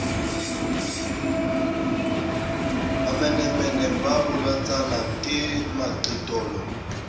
mamenemene ba bolotsana ke maqitolo